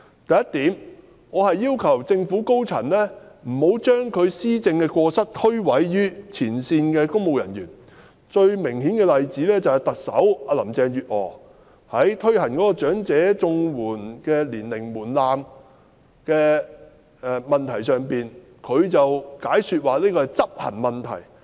第一，我要求政府高層不要將施政的過失推諉於前線公務員，最明顯的例子便是特首林鄭月娥在落實提高申領長者綜援的年齡門檻的問題上，解說這是執行問題。